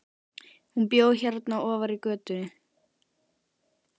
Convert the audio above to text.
Hún bjó hérna ofar í götunni.